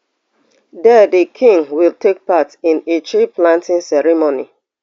there the king will take part in a treeplanting ceremony